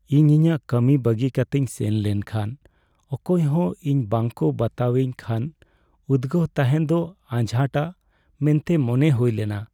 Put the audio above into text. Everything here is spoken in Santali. ᱤᱧ ᱤᱧᱟᱹᱜ ᱠᱟᱹᱢᱤ ᱵᱟᱹᱜᱤ ᱠᱟᱛᱮᱧ ᱥᱮᱱ ᱞᱮᱱ ᱠᱷᱟᱱ ᱚᱠᱚᱭ ᱦᱚᱸ ᱤᱧ ᱵᱟᱝᱠᱚ ᱵᱟᱛᱟᱣᱤᱧ ᱠᱷᱟᱱ ᱩᱫᱜᱟᱹᱣ ᱛᱟᱦᱮᱱ ᱫᱚ ᱟᱡᱷᱟᱴᱟ ᱢᱮᱱᱛᱮ ᱢᱚᱱᱮ ᱦᱩᱭ ᱞᱮᱱᱟ ᱾